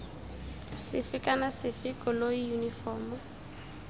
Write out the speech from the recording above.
sefe kana sefe koloi yunifomo